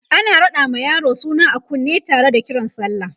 ana raɗa ma yaro suna a kunne Tara da Kiran sallah